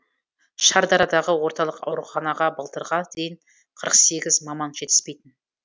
шардарадағы орталық ауруханаға былтырға дейін қырық сегіз маман жетіспейтін